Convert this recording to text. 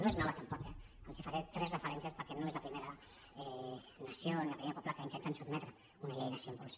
no és nova tampoc eh els faré tres referències perquè no és la primera nació ni el primer poble que intenten sotmetre a una llei de símbols